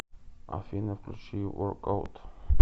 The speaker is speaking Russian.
афина включи ворк ит аут